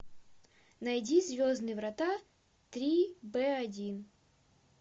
найди звездные врата три б один